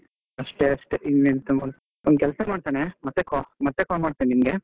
ಅಷ್ಟೇ ಅಷ್ಟೇ ಇನ್ನೆಂತ ಒಂದು ಕೆಲಸ ಮಾಡ್ತೀನೆ ಮತ್ತೆ ಮತ್ತೆ call ಮಾಡ್ತೇನೆ ನಿಮ್ಗೆ.